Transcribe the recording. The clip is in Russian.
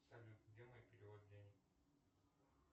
салют где мой перевод денег